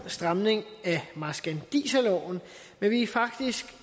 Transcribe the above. stramning af marskandiserloven men vi er faktisk